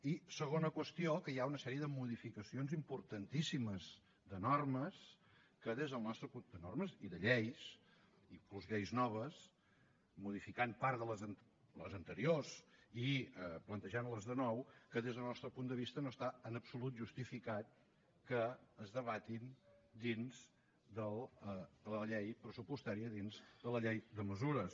i segona qüestió que hi ha una sèrie de modificacions importantíssimes de normes i de lleis inclús lleis noves modificant part de les anteriors i plantejant les de nou que des del nostre punt de vista no està en absolut justificat que es debatin dins de la llei pressupostària dins de la llei de mesures